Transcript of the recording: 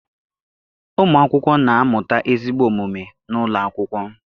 Ụmụakwụkwọ na-amụta ezigbo omume n'ụlọ akwụkwọ.